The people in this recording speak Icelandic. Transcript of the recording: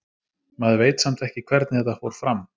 Maður veit samt ekki hvernig þetta fór fram.